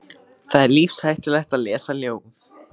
Það er lífshættulegt að lesa ljóð.